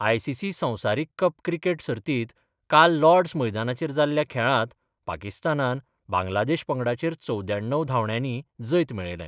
ICC संवसारीक cup cricket सर्तीत काल लॉर्डस मैदानाचेर जाल्ल्या खेळात पाकिस्तानान बांग्लादेश पंगडाचेर चवद्याण्णव धावण्यानी जैत मेळयले.